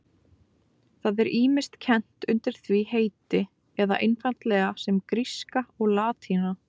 Það er ýmist kennt undir því heiti eða einfaldlega sem gríska og latína.